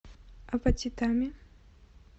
апатитами